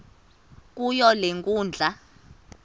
kuyo le nkundla